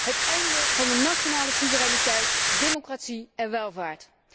Het einde van de nationale soevereiniteit, democratie en welvaart.